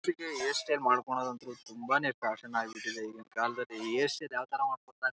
ಹಳದಿ ಬಣ್ಣದ ಹೂಗಳು ಇಟ್ಟಿದ್ದಾರೆ ಒಂದು ಟೇಬಲ್ ಹಾಕಿದ್ದಾರೆ ಹಿಂದೆ ಕೆಂಪು ಬಣ್ಣ ಹೊಡೆದಿದ್ದಾರೆ ಸೋಫಾ ಕಾಣಿಸುತ್ತಿದೆ.